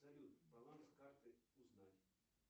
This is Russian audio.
салют баланс карты узнать